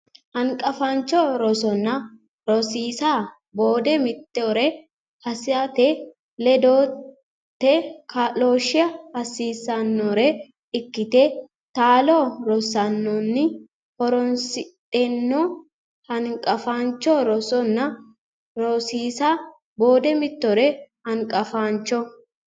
Hanqafaancho Rosanna Rosiisa Boode mittore assate ledote kaa looshshe hasisannore ikkete taalo rosansanni horonsidhanno Hanqafaancho Rosanna Rosiisa Boode mittore Hanqafaancho.